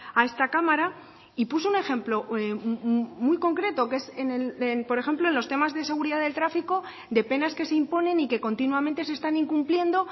a esta cámara y puso un ejemplo muy concreto que es por ejemplo en los temas de seguridad del tráfico de penas que se imponen y que continuamente se están incumpliendo